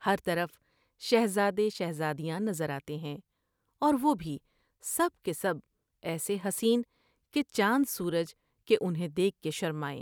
ہر طرف شہزادے شہزادیاں نظر آتے ہیں اور وہ بھی سب کے سب ایسے حسین کہ چاند سورج کہ انھیں دیکھ کے شرمائیں ۔